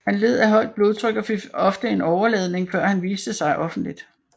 Han led af højt blodtryk og fik ofte en åreladning før han viste sig offentligt